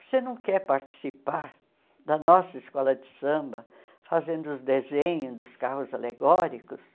Você não quer participar da nossa escola de samba, fazendo os desenhos dos carros alegóricos?